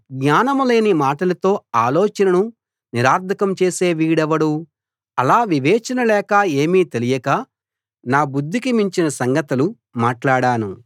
జ్ఞానం లేని మాటలతో ఆలోచనను నిరర్థకం చేసే వీడెవడు అలా వివేచన లేక ఏమీ తెలియక నా బుద్ధికి మించిన సంగతులు మాట్లాడాను